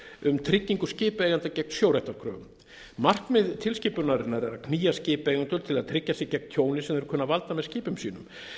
um tryggingu skipaeigenda gegn sjóréttarkröfum markmið tilskipunarinnar er að knýja skipaeigendur til að tryggja sig gegn tjóni sem þeir kunna að valda með skipum sínum